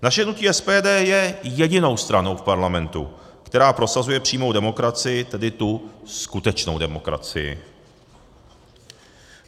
Naše hnutí SPD je jedinou stranou v Parlamentu, která prosazuje přímou demokracii, tedy tu skutečnou demokracii.